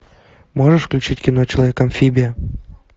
можешь включить кино человек амфибия